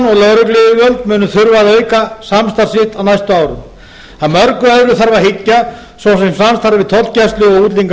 lögregluyfirvöld munu þurfa að auka samstarf sitt á næstu árum að mörgu öðru þarf að hyggja svo sem samstarfi tollgæslu og